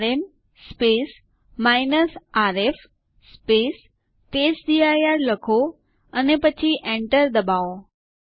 type કરો DF space h અને Enter કળ દબાવો